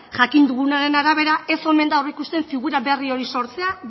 jakin dugunaren arabera ez omen da aurreikusten figura berri hori sortzea